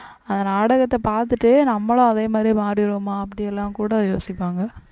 அந்த நாடகம் பார்த்துட்டு நம்மளும் அதே மாதிரி மாறிடுவோமா அப்படி எல்லாம் கூட யோசிப்பாங்க